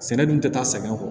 Sɛnɛ dun tɛ taa sɛgɛn kɔ